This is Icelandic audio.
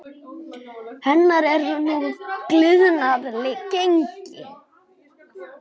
Hennar er nú gliðnað gengi.